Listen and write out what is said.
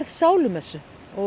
sálumessu